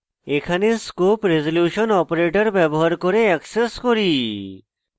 এখানে আমরা scope resolution operator ব্যবহার করে অ্যাক্সেস করি